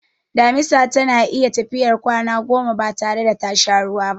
Damisa tana iya tafiyar kwana goma batare da tasha ruwa ba.